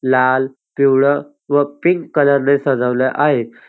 लाल पिवळं व पिंक कलर ने सजवल आहे.